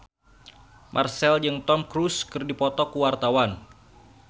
Marchell jeung Tom Cruise keur dipoto ku wartawan